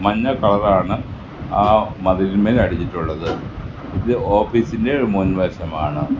മഞ്ഞ കളർ ആണ് ആ മതിലിന്മേൽ അടിച്ചിട്ടുള്ളത് ഇത് ഓഫീസിന്റെ മുൻ വശമാണ്.